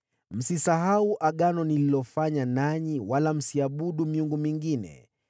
Msisahau agano nililofanya nanyi, wala msiabudu miungu mingine.